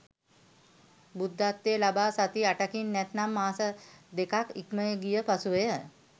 බුද්ධත්වය ලබා සති 8කින් නැත්නම් මාස දෙකක් ඉක්මගිය පසුවය.